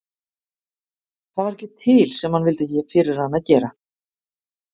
Það var ekki til sem hann vildi ekki fyrir hana gera.